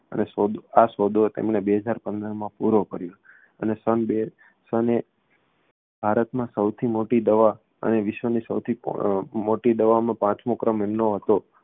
અને સોદો આ સોદો તેમણે બે હજાર પંદરમાં પૂરો કર્યો અને સન બે સન એ ભારતમાં સૌથી મોટી દવા અને વિશ્વની સૌથી અમ મોટી દવામાં પાંચમો ક્રમ એમનો હતો